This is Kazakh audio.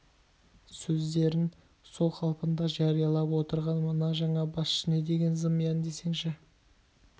сөздерін сол қалпында жариялап отырған мына жаңа басшы не деген зымиян десеңші